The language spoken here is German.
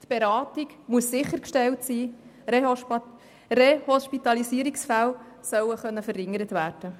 Die Beratung muss sichergestellt sein, Rehospitalisierungsfälle sollen reduziert werden.